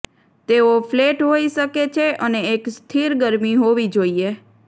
તેઓ ફ્લેટ હોઈ શકે છે અને એક સ્થિર ગરમી હોવી જોઇએ